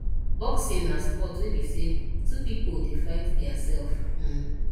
boxing na sport wey be sey two pipo dey fight their self um